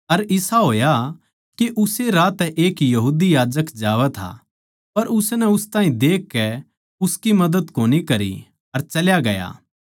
अर इसा होया के उस्से राही तै एक यहूदी याजक जावै था पर उसनै उस ताहीं देखकै उसकी मदद कोनी करी अर चल्या गया